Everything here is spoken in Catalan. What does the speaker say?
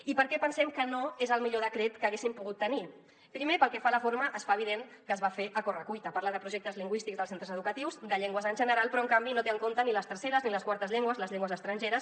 i per què pensem que no és el millor decret que haguéssim pogut tenir primer pel que fa a la forma es fa evident que es va fer a correcuita parla de projectes lingüístics dels centres educatius de llengües en general però en canvi no té en compte ni les terceres ni les quartes llengües les llengües estrangeres